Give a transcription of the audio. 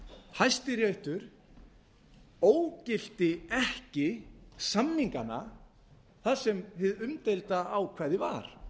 hæstiréttur ógilti ekki samningana þar sem hið umdeilda ákvæði var